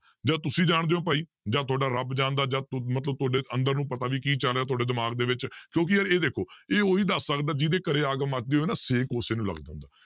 ਜਾਂ ਤੁਸੀਂ ਜਾਣਦੇ ਹੋ ਭਾਈ ਜਾਂਂ ਤੁਹਾਡਾ ਰੱਬ ਜਾਣਦਾ ਜਾਂ ਤ~ ਮਤਲਬ ਤੁਹਾਡੇ ਅੰਦਰ ਨੂੰ ਪਤਾ ਵੀ ਚੱਲ ਰਿਹਾ ਤੁਹਾਡੇ ਦਿਮਾਗ ਦੇ ਵਿੱਚ ਕਿਉਂਕਿ ਯਾਰ ਇਹ ਦੇਖੋ ਇਹ ਉਹੀ ਦੱਸ ਸਕਦਾ ਜਿਹਦੇ ਘਰੇ ਅੱਗ ਮੱਚਦੀ ਹੋਵੇ ਛੇਕ ਉਸੇ ਨੂੰ ਲੱਗਦਾ ਹੁੰਦਾ।